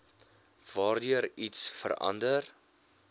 waardeur iets verander